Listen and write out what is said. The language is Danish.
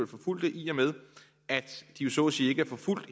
forfulgte i og med at de jo så at sige ikke er forfulgt